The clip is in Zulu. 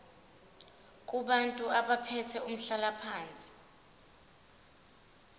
kubantu abathathe umhlalaphansi